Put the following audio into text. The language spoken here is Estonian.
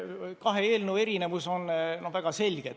Kahe eelnõu erinevus on väga selge.